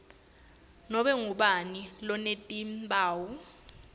nobe ngubani lonetimphawu